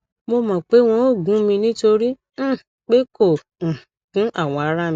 mo mọ pé wọn ò gún mi nítorí um pé kò um gún awọ ara mi